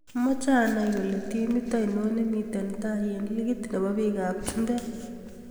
Amache anai kole timit ngori nemiten tai eng ligit nebo biikap chumbek